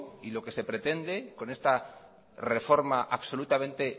y lo que se pretende con esta reforma absolutamente